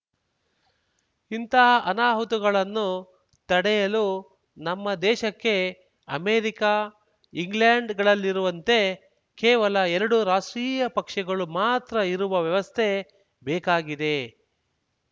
ಇಂಥ ಅನಾಹುತಗಳನ್ನು ತಡೆಯಲು ನಮ್ಮ ದೇಶಕ್ಕೆ ಅಮೆರಿಕ ಇಂಗ್ಲೆಂಡ್‌ಗಳಲ್ಲಿರುವಂತೆ ಕೇವಲ ಎರಡು ರಾಷ್ಟ್ರೀಯ ಪಕ್ಷಗಳು ಮಾತ್ರ ಇರುವ ವ್ಯವಸ್ಥೆ ಬೇಕಾಗಿದೆ